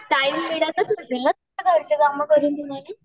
Time मिळतच नसेल नं घरचे काम करून तुम्हाला.